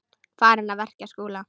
Farinn að verja Skúla!